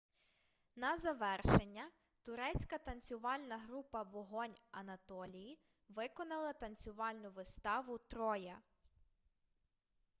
на завершення турецька танцювальна група вогонь анатолії виконала танцювальну виставу троя